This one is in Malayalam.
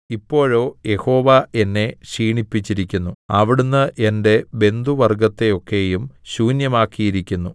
ഇപ്പോഴോ യഹോവ എന്നെ ക്ഷീണിപ്പിച്ചിരിക്കുന്നു അവിടുന്ന് എന്റെ ബന്ധുവർഗ്ഗത്തെയൊക്കെയും ശൂന്യമാക്കിയിരിക്കുന്നു